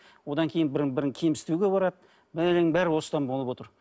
одан кейін бірін бірі кемсітуге барады бәленің барлығы осыдан болып отыр